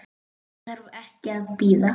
Ég þarf ekki að bíða.